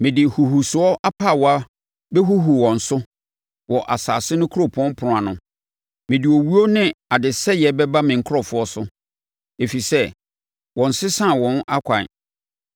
Mede huhusoɔ apaawa bɛhuhu wɔn so wɔ asase no kuropɔn apono ano. Mede owuo ne adesɛeɛ bɛba me nkurɔfoɔ so, ɛfiri sɛ wɔnsesaa wɔn akwan.